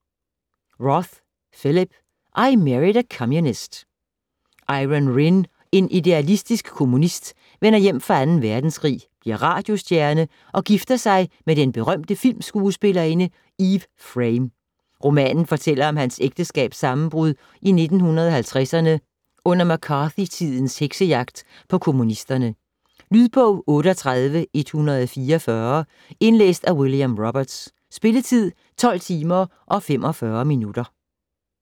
Roth, Philip: I married a communist Iron Rinn, en idealistisk kommunist, vender hjem fra 2. verdenskrig, bliver radiostjerne og gifter sig med den berømte filmskuespillerinde Eve Frame. Romanen fortæller om hans ægteskabs sammenbrud i 1950'erne under McCarthy-tidens heksejagt på kommunisterne. Lydbog 38144 Indlæst af William Roberts. Spilletid: 12 timer, 45 minutter.